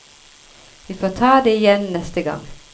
Vi får ta det igjen neste gang.